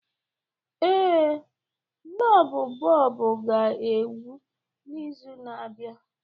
Ee, klọb bọọlụ ga-egwu n'izu na-abịa.